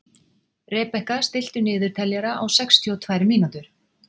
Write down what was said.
Rebekka, stilltu niðurteljara á sextíu og tvær mínútur.